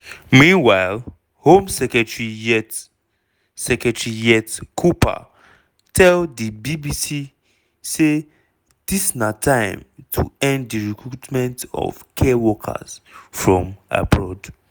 meanwhile home secretary yvette secretary yvette cooper tell di bbc say dis na time to end di recruitment of care workers from abroad.